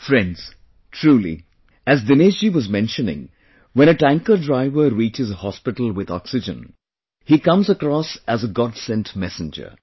Friends, truly, as Dinesh ji was mentioning, when a tanker driver reaches a hospital with oxygen, he comes across as a godsent messenger